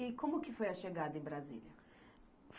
E como que foi a chegada em Brasília?